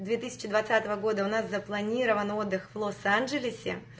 две тысячи двадцатого года у нас запланирован отдых в лос анджелесе